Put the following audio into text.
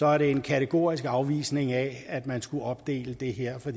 er det en kategorisk afvisning af at man skulle opdele det her for